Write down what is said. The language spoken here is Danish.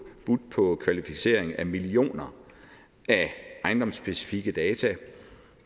budt på kvalificering af millioner af ejendomsspecifikke data